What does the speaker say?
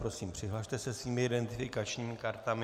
Prosím, přihlaste se svými identifikačními kartami.